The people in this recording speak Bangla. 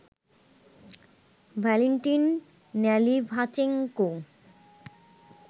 Valentin Nalyvaichenko